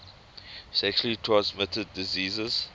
sexually transmitted diseases